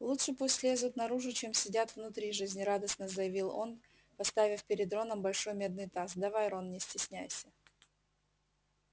лучше пусть лезут наружу чем сидят внутри жизнерадостно заявил он поставив перед роном большой медный таз давай рон не стесняйся